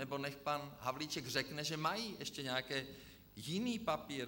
Nebo nechť pan Havlíček řekne, že mají ještě nějaký jiný papír.